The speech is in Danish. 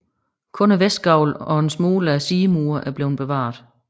Kun vestgavlen og en smule af sidemurene er bevaret